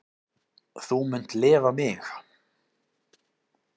Þú munt lifa mig.